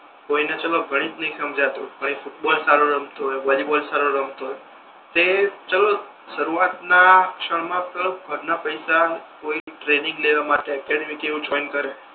કોઈને ચાલો ગણિત નથી સમજાતુ પણ એ ફૂટબોલ સારો રમતો હોય વોલીબોલ સારો રમતો હોય તે ચાલો શરૂવાત ના ક્ષણ મા ક ઘર ના પૈસા ટ્રેનિંગ લેવા માટે કે કઈક એવુ જોઈને કરે